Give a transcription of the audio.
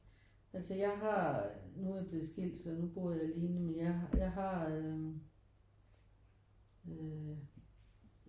Altså jeg har nu er jeg blevet skilt så nu bor jeg alene men jeg jeg har øh øh